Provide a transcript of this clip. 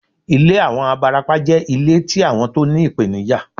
Ilé àwọn abarapá jẹ́ ilé tí àwọn tó ní ìpènijà